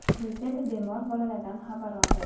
Prezident bemor bolalardan xabar oldi.